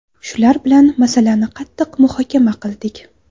Shular bilan masalani qattiq muhokama qildik.